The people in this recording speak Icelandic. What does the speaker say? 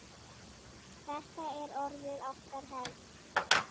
Þetta er orðið okkar hefð.